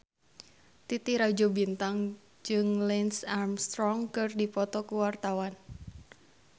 Titi Rajo Bintang jeung Lance Armstrong keur dipoto ku wartawan